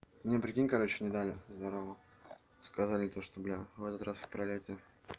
мне прикинь короче не дали здорово сказали то что бля в этот раз в пролёте